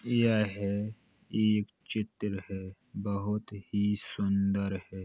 यह एक चित्र है | बहुत ही सुंदर है।